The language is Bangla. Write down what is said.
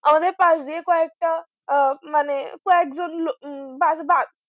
আমাদের পাশ দিয়ে কয়েকটা মানে কয়েকজন